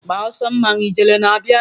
Gbaa ọsọ mmawu ijele na-abịa!